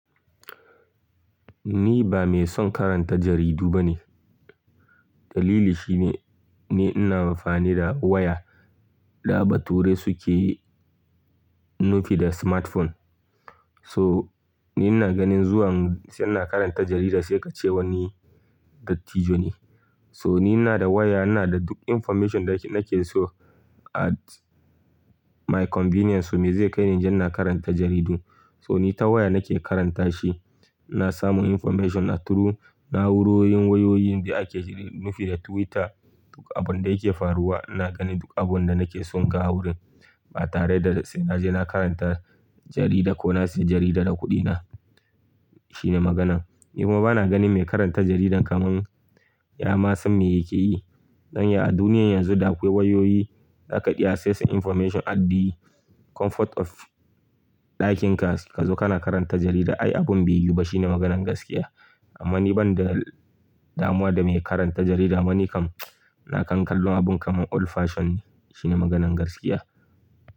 Ni ba mai son karanta jaridu bane. Dalili shine, ni ina amfani da waya. Da baturai suke nufi da smartphone. So ni ina ganin zuwan sai na karanta jarida sai ka ce wani dattijo ne. So ni ina da waya, ina da duk information da nake so at my convenience. So me zai kai ni inje ina karanta jaridu? So ni ta waya nake karanta shi. Na samu information through na'urorin wayoyin da ake nufi da Twitter. Duka abun da yake faruwa ina gani duk abun da nake so ga wurin. Ba tare da sai naje na karanta jarida ko na sayi jarida da kuɗina. Shine maganan. Ni kuma bana ganin mai karanta jaridan kamar ya ma san me yake yi. Dan ya, a duniyar yanzu da akwai wayoyi, za ka iya access information at the comfort of ɗakinka kazo kana karanta jarida ai abin bai yi ba shine maganan gaskiya. Amma ni banda damuwa da mai karanta jarida ma ni kam ina kankallo abun kamar old fashion ne shine maganan gaskiya.